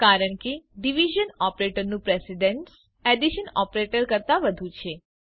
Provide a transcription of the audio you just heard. કારણ કે ડીવીઝન ઓપરેટરનું પ્રેશીડેન્સ પ્રાધાન્ય એડીશન ઓપરેટર કરતાં વધુ છે